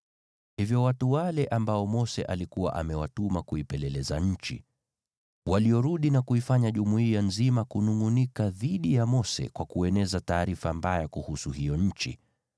Hivyo watu wale ambao Mose alikuwa amewatuma kuipeleleza nchi, waliorudi na kuifanya jumuiya nzima kunungʼunika dhidi ya Mose kwa kueneza taarifa mbaya kuhusu hiyo nchi: